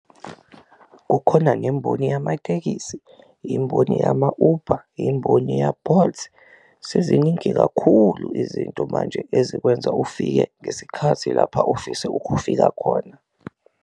Kukhona nemboni yamatekisi, imboni yama-Uber, imboni ya-Bolt seziningi kakhulu izinto manje ezikwenza ufike ngesikhathi lapha ofisa ukufika khona.